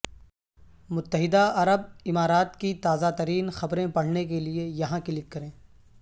متحدہ عرب امارات کی تازہ ترین خبریں پڑھنے کے لئے یہاں کلک کریں